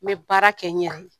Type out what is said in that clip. N ye baara kɛ n yɛrɛ ye